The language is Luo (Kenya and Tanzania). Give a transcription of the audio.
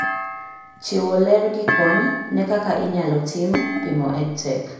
Chiwo ler gi kony ne kaka inyalo tim pimo EdTech